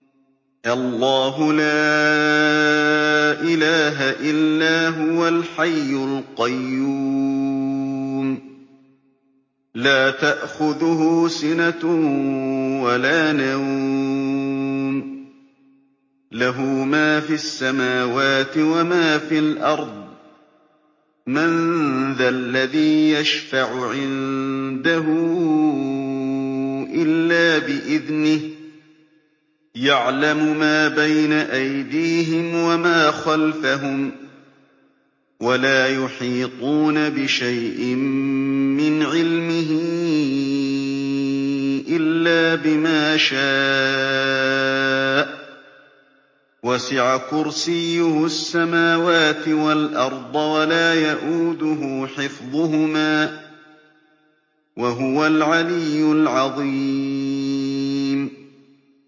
اللَّهُ لَا إِلَٰهَ إِلَّا هُوَ الْحَيُّ الْقَيُّومُ ۚ لَا تَأْخُذُهُ سِنَةٌ وَلَا نَوْمٌ ۚ لَّهُ مَا فِي السَّمَاوَاتِ وَمَا فِي الْأَرْضِ ۗ مَن ذَا الَّذِي يَشْفَعُ عِندَهُ إِلَّا بِإِذْنِهِ ۚ يَعْلَمُ مَا بَيْنَ أَيْدِيهِمْ وَمَا خَلْفَهُمْ ۖ وَلَا يُحِيطُونَ بِشَيْءٍ مِّنْ عِلْمِهِ إِلَّا بِمَا شَاءَ ۚ وَسِعَ كُرْسِيُّهُ السَّمَاوَاتِ وَالْأَرْضَ ۖ وَلَا يَئُودُهُ حِفْظُهُمَا ۚ وَهُوَ الْعَلِيُّ الْعَظِيمُ